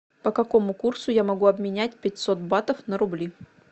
по какому курсу я могу обменять пятьсот батов на рубли